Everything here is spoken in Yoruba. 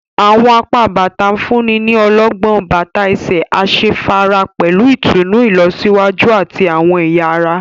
Awọn apá bàtà nfunni ní ọlọgbọn, bàtà ẹsẹ asefara pẹlú ìtùnú ilọsiwaju ati awọn ẹya ará